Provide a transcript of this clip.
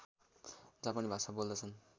जापानी भाषा बोल्दछन्